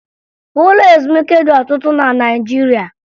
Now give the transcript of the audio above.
Ụlọ ezumike dị ọtụtụ na Naịjirịa